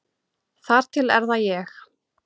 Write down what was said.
Þar til er það ég.